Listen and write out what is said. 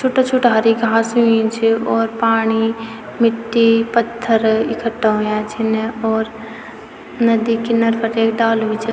छुट्टा-छुट्टा हरी घास हुई छ और पाणी मिट्टी पत्थर इकठ्ठा हुयां छिन और नदी किनर पर एक डालू भी च।